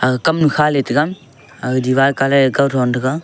aga kamnu kha litaiga aga diwar colour e kawthon tega.